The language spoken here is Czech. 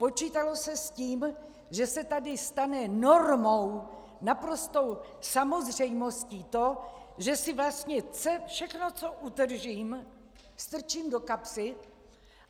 Počítalo se s tím, že se tady stane normou, naprostou samozřejmostí to, že si vlastně všechno, co utržím, strčím do kapsy.